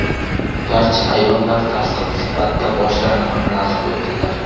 Barcha ayollar tasdiq sifatida boshlarini qimirlatib qo‘ydilar.